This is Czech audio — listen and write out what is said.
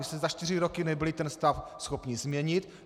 Vy jste za čtyři roky nebyli ten stav schopni změnit.